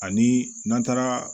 Ani n'an taara